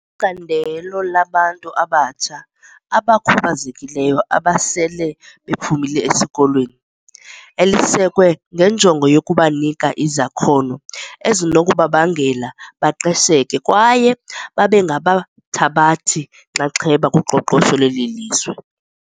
Icandelo labantu abatsha abakhubazekileyo abasele bephumile esikolweni, elisekwe ngenjongo yokubanika izakhono ezinokubabangela baqesheke kwaye babengabathabathi-nxaxheba kuqoqosho lwelizwe.